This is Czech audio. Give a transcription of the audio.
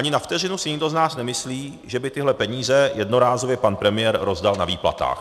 Ani na vteřinu si nikdo z nás nemyslí, že by tyhle peníze jednorázově pan premiér rozdal na výplatách.